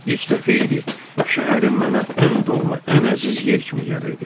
İlk dəfə idi şəhərim mənə ən doğma, ən əziz yer kimi gəlirdi.